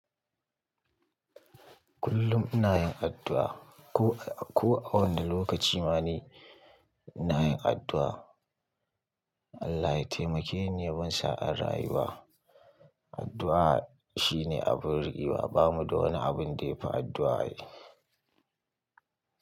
Kullum ina yin addu'a. Ko, ko a wanda lokaci ma ni ina yin addu'a. Allah ya taimake ni, ya ban sa'an rayuwa. Addu'a shine abin rikewa. Ba mu da wani abun da yafi addu'a ai.